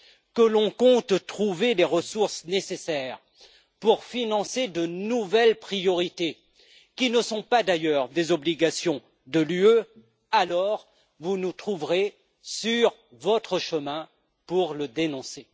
que l'on compte trouver les ressources nécessaires pour financer de nouvelles priorités qui ne sont pas, d'ailleurs, des obligations de l'Union, alors vous nous trouverez sur votre chemin pour le dénoncer.